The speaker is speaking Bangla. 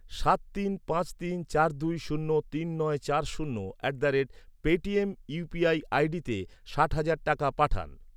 সাত তিন পাঁচ তিন চার দুই শূন্য তিন নয় চার শূন্য at the rate Paytm UPI আইডিতে ষাট হাজার টাকা পাঠান।